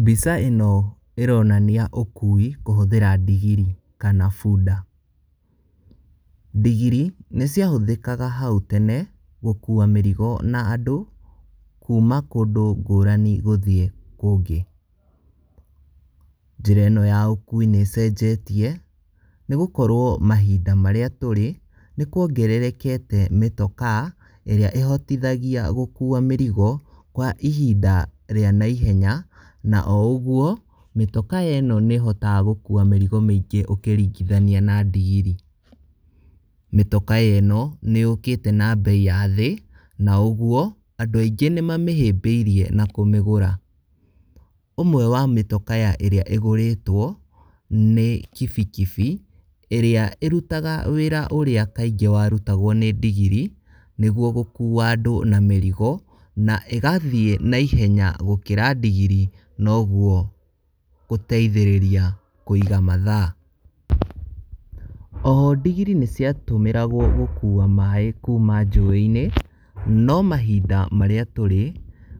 Mbica ĩno ĩronania ũkui kũhũthĩra ndigiri kana bunda. Ndigiri nĩciahũthĩkaga hau tene gũkua mĩrigo na andũ kuma kũndũ ngũrani gũthiĩ kũngĩ. Njĩra ĩno ya ũkui nĩĩcenjetie nĩgũkorwo mahinda marĩa tũrĩ nĩkwongererekete mĩtokaa ĩrĩa ĩhotithagia gũkua mĩrigo kwa ihinda rĩa naihenya na o ũguo mĩtokaa ĩno nĩĩhotaga gũkua mĩrigo mĩingĩ ũĩringitahnia na ndigiri. Mĩtokaa ĩno nĩyũkĩte na mbei ya thĩ na o ũguo andũ aingĩ nĩmamĩhĩmbĩirie na kũmĩgũra. Ũmwe wa mĩtokaa ĩrĩa ĩgũrĩtwo nĩ kibikibi ĩrĩa ĩrutaga wĩra ũrĩa kaingĩ warutagwo nĩ ndigiri nĩguo gũkua andũ na mĩrigo na ĩgathiĩ naihenya gũkĩra ndigiri noguo gũteithĩrĩria kũiga mathaa. Oho ndigiri nĩciatũmĩragwo gũkua maĩ kuma njũĩ-inĩ, no mahinda marĩa tũrĩ,